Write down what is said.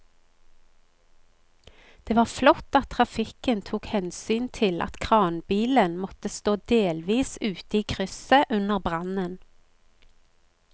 Det var flott at trafikken tok hensyn til at kranbilen måtte stå delvis ute i krysset under brannen.